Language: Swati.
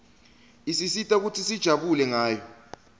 isisita kutsi sijabule ngayo